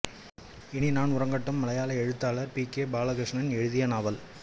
இனி நான் உறங்கட்டும் மலையாள எழுத்தாளர் பி கெ பாலகிருஷ்ணன் எழுதிய நாவல்